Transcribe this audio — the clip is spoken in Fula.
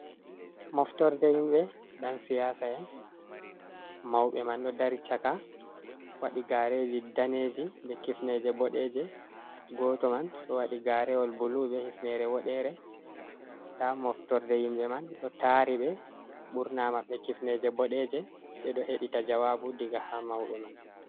Moftorde himɓe ƴan siyasa'en. Mauɓe man ɗo dari chaka waɗi gaareji daneeji be kifneeje bodeeje. Goto man ɗo waɗi gaarewol blue be hifnere woɗere. Nda moftorde yimɓe man ɗo taari ɓe ɓurna maɓɓe kifneje bodeje ɓe ɗo hedita jawaabu diga ha mauɓe man.